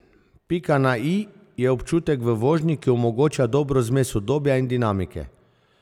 Pika na i je občutek v vožnji, ki omogoča dobro zmes udobja in dinamike.